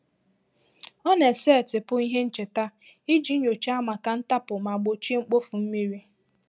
Ọ na-esetịpụ ihe ncheta iji nyòcháá maka ntapu ma gbochie mkpofu mmiri.